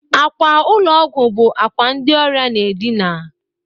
Akwa ụlọ ọgwọ bụ akwa ndị ọrịa na-edịna